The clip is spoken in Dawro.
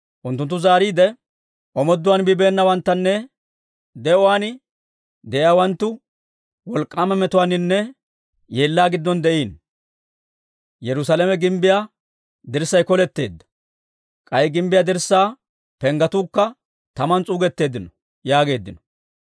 Unttunttu zaariide, «Omoodduwaan bibeenawanttunne de'uwaan de'iyaawanttu wolk'k'aama metuwaaninne yeellaa giddon de'iino. Yerusaalame gimbbiyaa dirssay koletteedda; k'ay gimbbiyaa dirssaa penggetuukka taman s'uugetteeddino» yaageeddino.